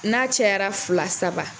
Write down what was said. N'a cɛyara fila saba